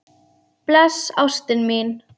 Bless ástin mín.